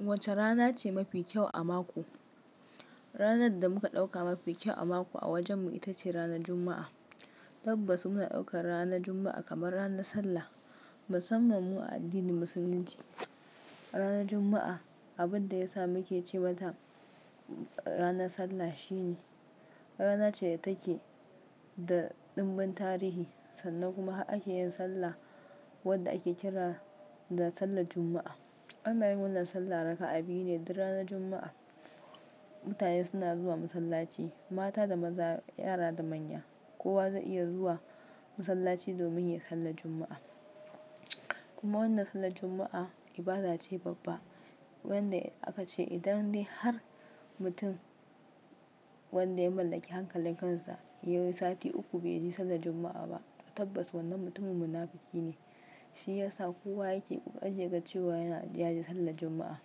Wacce rana ce mafi kyau a mako? Ranar da muka ɗauka mafi kyau a mako a wajenmu ita ce ranar Juma'a. Tabbas muna ɗaukar ranar Juma'a kamar ranar sallah. Musamman mu a addinin Musulunci, ranar Juma'a abin da ya sa muke ce mata ranar sallah shine rana ce da take da ɗimbin tarihi sannan kuma ake yin sallah wadda ake kira da sallar Juma'a. An yin w sallah raka'a biyu ne duk ranar Juma'a. Mutane suna zuwa masallaci, mata da maza, yara da manya, kowa zai iya zuwa masallaci domin ya yi sallar Juma'a. Kuma wannan sallar Juma'a ibada ce babba wadda aka ce idan dai har mutum wanda ya mallaki hankalin kansa ya yi sati uku bai yi sallar Juma'a ba tabbas wannan mutumin munafuki ne. Shi ya sa kowa yake ga cewa ya yaje sallar Juma'a.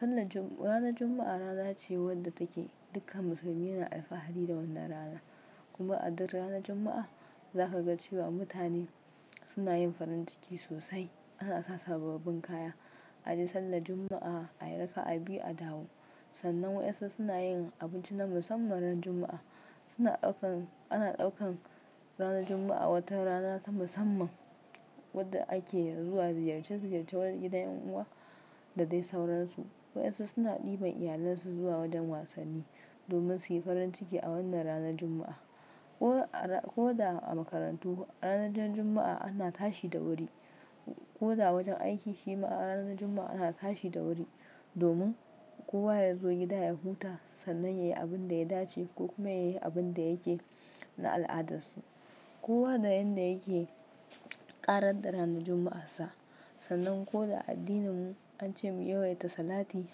Sallar Jum-- ranar Juma'a rana ce wadda take dukkan musulmi yana alfahari da wannan rana. Kuma a duk ranar Juma'a za ka ga cewa mutane suna yin farin ciki sosai. Ana sa sababbin kaya, aje sallar Juma'a, ayi raka'a biyu, a dawo. Sannan wayansu suna yin abinci na musamman ran Juma'a. Suna ɗaukan-- ana ɗaukan ranar Juma'a wata rana ta musamman wadda ake zuwa ziyarce ziyarce gidan yan uwa da dai sauransu. Wayansu suna ɗiban iyalansu zuwa wajen wasanni domin suyi farin ciki a wannan ranar Juma'a. K da a makarantu ranar Juma'a ana tashi da wuri. Ko da a wajen aiki shi ma ranar Juma'a ana tashi da wuri domin kowa ya zo gida ya huta sannan yayi abin da ya dace ko kuma yayi abun da yake na al'adarsa. Kowa da yanda yake ƙarar da ranar Juma'ar sa. Sannan ko da a addininmu an ce mu yawaita salati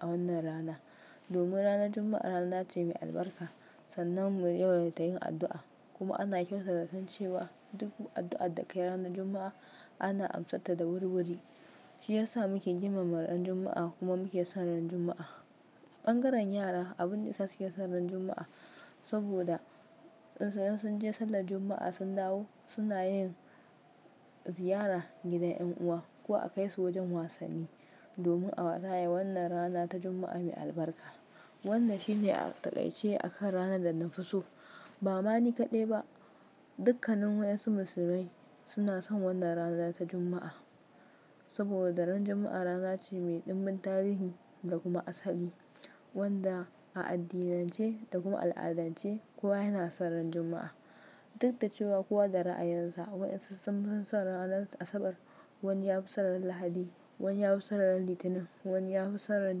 a wannan rana domin ranar Juma'a rana ce mai albarka. Sannan mu yawaita yin addu'a kuma ana kyautata zaton cewa duk addu'ar da ka yi ranar Juma'a ana amsar ta da wuri wuri. Shi ya sa muke girmama ran Juma'a kuma muke son ran Juma'a. Ɓangaren yara abin da yasa suke son ran Juma'a saboda in sun je sallar Juma'a sun dawo suna yin ziyara gidan yan uwa ko a kai su wajen wasanni domin a raya wannan rana ta Juma'a mai albarka. Wannan shi ne a taƙaice a kan ranar da na fi so. Ba ma ni kadai ba, dukkanin wayansu musulmai suna son wannan rana ta Juma'a saboda ran Juma'a rana ce mai ɗimbin tarihi da kuma asali wanda a addinance da kuma al'adance kowa yana son ran Juma'a. Duk da cewa kowa da ra'ayinsa. Wayansu sun fi son ranar Asabar, wani ya fi son ran Lahadi, wani ya fi son ran Litinin, wani ya fi son ran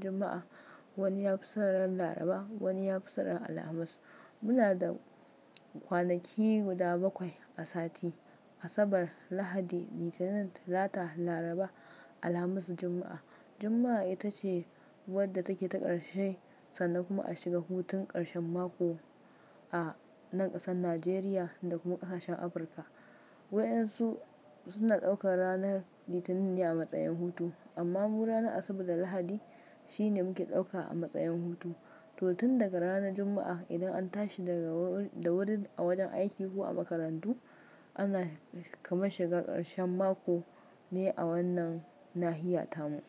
Juma'a, wani ya fi son ran Laraba, wani ya fi son ran Alhamis. Muna da kwanaki guda bakwai a sati. Asabar, Lahadi, Litinin, Talata, Laraba, Alhamis, Juma'a. Juma'a ita ce wadda take ta ƙarshe sannan kuma a shiga hutun ƙarshen mako a nan ƙasar Najeriya da kuma ƙasashen Afirka. Wayansu suna ɗaukar ranar Litinin ne a matsayin hutu amma mu ranar Asabar da Lahadi shi ne muke ɗauka a matsayin hutu. To tun daga ranar Juma'a idan an tashi daga da wuri a wajen aiki ko a makarantu ana kamar shiga ƙarshen mako ne a wannan nahiya tamu.